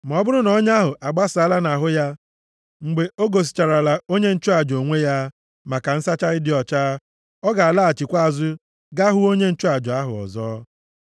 Ma ọ bụrụ na ọnya ahụ agbasaa nʼahụ ya mgbe o gosicharala onye nchụaja onwe ya maka nsacha ịdị ọcha, ọ ga-alaghachikwa azụ ga hụ onye nchụaja ahụ ọzọ.